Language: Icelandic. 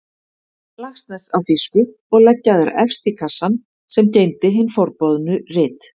Laxness á þýsku og leggja þær efst í kassann sem geymdi hin forboðnu rit.